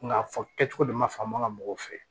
Nka fɔ kɛcogo de ma faamuya mɔgɔw fɛ